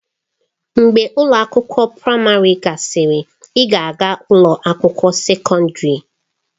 Mgbe ụlọ akwụkwọ praịmarị gasịrị, ị ga-aga ụlọ akwụkwọ sekọndrị.